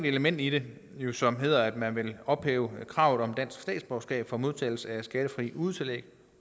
element i det som hedder at man vil ophæve kravet om dansk statsborgerskab for modtagelse af skattefri udetillæg